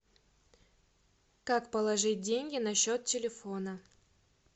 как положить деньги на счет телефона